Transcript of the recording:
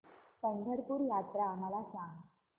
पंढरपूर यात्रा मला सांग